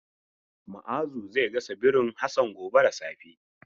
Ma'azu zai gasa birin Hassan gobe da safe.